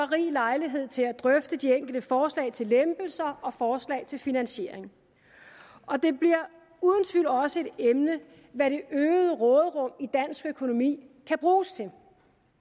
rig lejlighed til at drøfte de enkelte forslag til lempelser og forslag til finansiering og det bliver uden tvivl også et emne hvad det øgede råderum i dansk økonomi kan bruges til